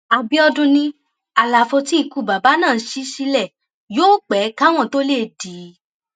àbíọdún ni àlàfo tí ikú bàbà náà ṣí sílẹ yóò pé káwọn tóo lè dí i